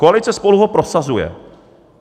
Koalice SPOLU ho prosazuje.